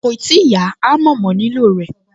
Kòì tíì yá, àmọ́ mo nílò rẹ̀